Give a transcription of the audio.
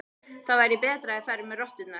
Það væri betra að þeir færu með rotturnar.